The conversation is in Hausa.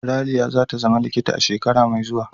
Raliya za ta zama likita a shekara mai zuwa.